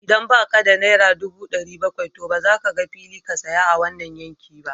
Idan ba ka da naira ɗubu ɗari bakwai, to ba za ka ga fili ka saya a wannan yanki ba